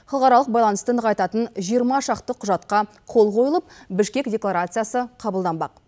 халықаралық байланысты нығайтатын жиырма шақты құжатқа қол қойылып бішкек декларациясы қабылданбақ